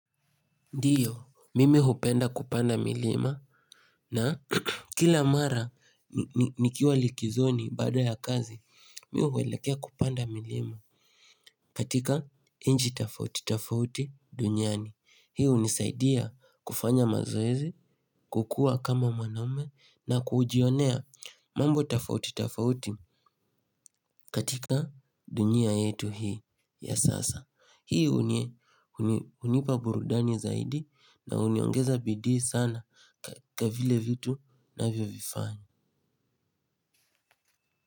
Ndiyo, mimi hupenda kupanda milima na kila mara nikiwa likizoni baada ya kazi, mimi huelekea kupanda milima katika nchi tofauti tofauti duniani. Hii hunisaidia kufanya mazoezi, kukua kama mwanaume na kujionea mambo tofauti tofauti katika dunia yetu hii ya sasa. Hii hunipa burudani zaidi na huniongeza bidii sana katika vile vitu navyo vifanya.